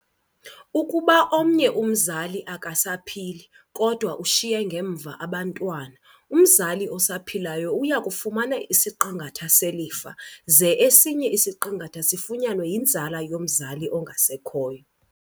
Ukuba omnye umzali akasaphili, kodwa ushiye ngemva abantwana, umzali osaphilayo uyakufumana isiqingatha selifa, ze esinye isiqingatha sifunyanwe yinzala yomzali ongasekhoyo.